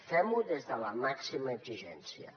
fem ho des de la màxima exigència